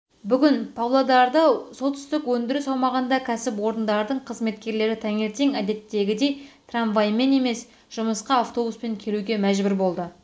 бүгін павлодарда солтүстік өндіріс аумағындағы кәсіпорындардың қызметкерлері таңертең әдеттегідей трамваймен емес жұмысқа автобуспен келуге мәжбүр болды